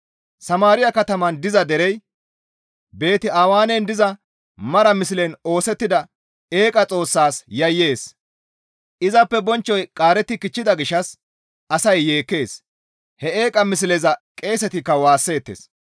Samaariya kataman diza derey Beeti-Awenen diza mara mislen oosettida eeqa xoossas yayyees. Izappe bonchchoy qaaretti kichchida gishshas asay yeekkees. He eeqa misleza qeesetikka waasseettes.